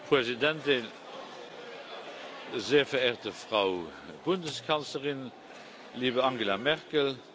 Präsident, sehr verehrte Frau Bundeskanzlerin, liebe Angela Merkel!